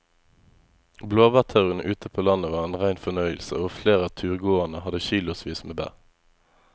Blåbærturen ute på landet var en rein fornøyelse og flere av turgåerene hadde kilosvis med bær.